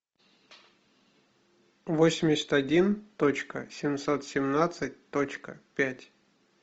восемьдесят один точка семьсот семнадцать точка пять